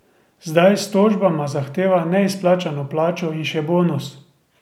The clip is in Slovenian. Zdaj s tožbama zahteva neizplačano plačo in še bonus.